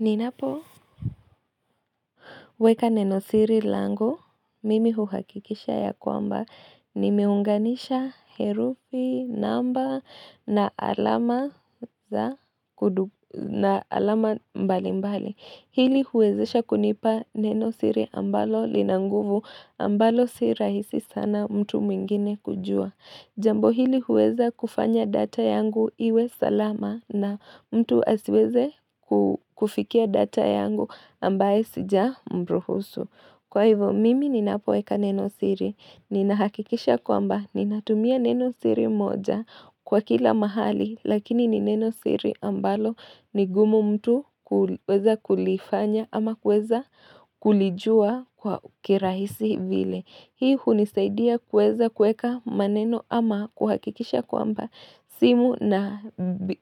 Ninapoweka nenosiri langu mimi huhakikisha ya kwamba nimeunganisha herufi namba na alama na alama mbalimbali hili huwezesha kunipa nenosiri ambalo lina nguvu ambalo si rahisi sana mtu mwingine kujua Jambo hili huweza kufanya data yangu iwe salama na mtu asiweze kufikia data yangu ambayo sijamruhusu. Kwa hivo, mimi ninapoweka neno siri. Ninahakikisha kwamba, ninatumia neno siri moja kwa kila mahali, lakini ni neno siri ambalo ni gumu mtu kuweza kulifanya ama kuweza kulijua kwa kirahisi vile. Hii hunisaidia kueza kueka maneno ama kuhakikisha kwamba simu na